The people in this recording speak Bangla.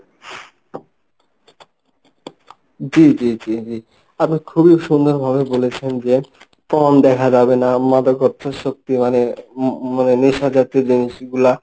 জি জি জি, আপনি খুবই সুন্দরভাবে বলেছেন যে porn দেখা যাবে না মাদকাত্ত শক্তিমানের মানে নেশা জাতীয় জিনিসগুলা